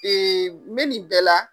Ee n be nin bɛɛ la.